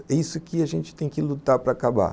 É isso que a gente tem que lutar para acabar.